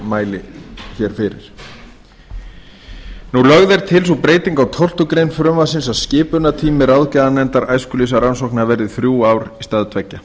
nefndarálitinu lögð er til sú breyting á tólftu greinar frumvarpsins að skipunartími ráðgjafarnefndar æskulýðsrannsókna verði þrjú ár í stað tveggja